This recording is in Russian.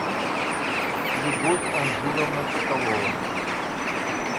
любовь анжуровна соколова